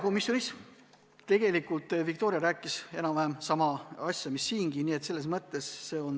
Komisjonis rääkis Viktoria enam-vähem sama asja mis siingi.